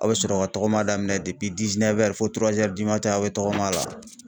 Aw bɛ sɔrɔ ka tɔgɔma daminɛ fo aw bɛ tɔgɔma la.